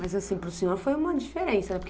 Mas assim, para o senhor foi uma diferença.